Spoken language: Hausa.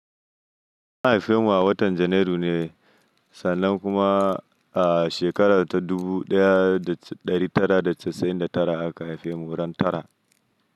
An haife mu a watan Janairu ne, sannan kuma a shekarar ta dubu ɗaya da ɗari tara da casa'in da tara aka haife mu ran tara.